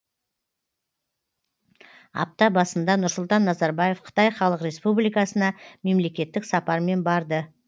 апта басында нұрсұлтан назарбаев қытай халық республикасына мемлекеттік сапармен барды